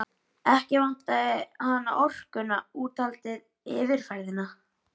Ekki vantaði hana orkuna, úthaldið, yfirferðina.